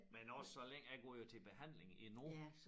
Men også så længe jeg går jo til behandling endnu